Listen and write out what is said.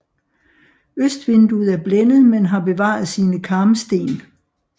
Østvinduet er blændet men har bevaret sine karmsten